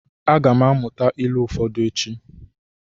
A ga m amụta ilu ụfọdụ echi.